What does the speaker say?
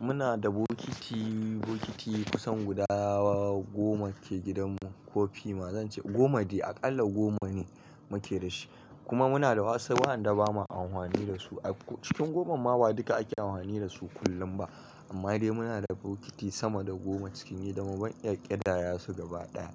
Muna da bokiti, bokiti kusan guda goma ke gidanmu ko fima. Ma zan ce goma de, aƙalla goma ne muke da shi. Kuma muna da wasu wa'anda ba ma anhwani da su. Cikin gomamma ba duka ake anhwani da su kullum ba. Amma dai muna da bokiti sama da goma cikin gidanmu, ban iya ƙidaya su gaba ɗaya.